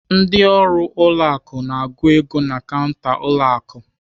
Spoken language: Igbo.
Ndị ọrụ ụlọ akụ na-agụ ego na kanta ụlọ akụ.